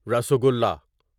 rasgulla rasgulla